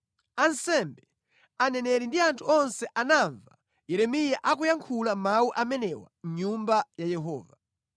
Ansembe, aneneri ndi anthu onse anamva Yeremiya akuyankhula mawu amenewa mʼNyumba ya Yehova.